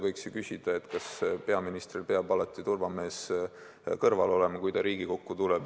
Võiks ju küsida, kas peaministril peab alati turvamees kõrval olema, kui ta Riigikokku tuleb.